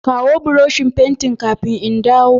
Kawo Buroshin fentin kafin in dawn.